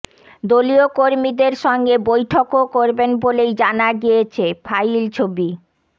দলীয় কর্মীদের সঙ্গে বৈঠকও করবেন বলেই জানা গিয়েছে ফাইল ছবি